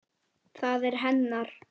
Það er hennar.